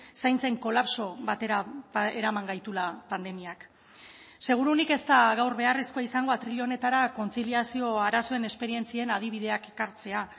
zaintzen kolapso batera eraman gaituela pandemiak seguruenik ez da gaur beharrezkoa izango atril honetara kontziliazio arazoen esperientzien adibideak ekartzea